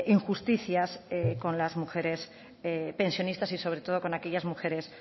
injusticias con las mujeres pensionistas y sobre todo con aquellas mujeres